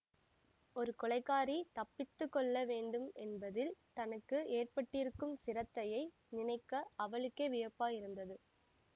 ஒரு கொலைகாரி தப்பித்து கொள்ள வேண்டும் என்பதில் தனக்கு ஏற்பட்டிருக்கும் சிரத்தையை நினைக்க அவளுக்கே வியப்பாயிருந்தது